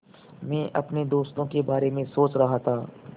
मैं अपने दोस्तों के बारे में सोच रहा था